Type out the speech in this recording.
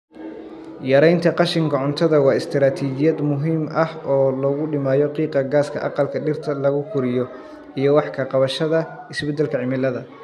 Yaraynta qashinka cuntada waa istaraatijiyad muhiim ah oo lagu dhimayo qiiqa gaaska aqalka dhirta lagu koriyo iyo wax ka qabashada isbeddelka cimilada.